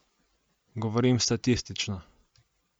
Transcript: Govorim statistično.